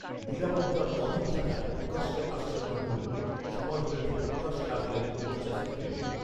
নিরাপত্তার অভাব থাকায় প্রকাশ্যে আসছেন না গুরুং৷ সময় হলে ঠিক প্রকাশ্যে আসবেন মোর্চা সুপ্রিমো৷”